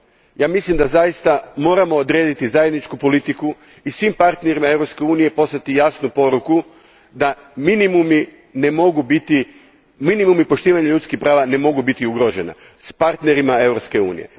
Ja mislim da zaista moramo odrediti zajedničku politiku i svim partnerima Europske unije poslati jasnu poruku da minimumi poštivanja ljudskih prava ne mogu biti ugroženi s partnerima Europske unije.